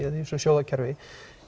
þessu sjóðakerfi